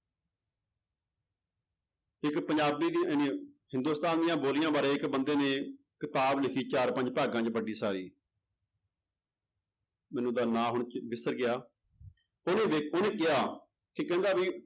ਇੱਕ ਪੰਜਾਬੀ ਦੀ ਹਿੰਦੁਸਤਾਨ ਦੀਆਂ ਬੋਲੀਆਂ ਬਾਰੇ ਇੱਕ ਬੰਦੇ ਨੇ ਕਿਤਾਬ ਲਿਖੀ ਚਾਰ ਪੰਜ ਭਾਗਾਂ ਚ ਵੱਡੀ ਸਾਰੀ ਮੈਨੂੰ ਉਹਦਾ ਨਾਂ ਹੁਣ ਵਿਸਰ ਗਿਆ ਉਹਦੇ ਵਿੱਚ ਉਹਨੇ ਕਿਹਾ ਤੇ ਕਹਿੰਦਾ ਵੀ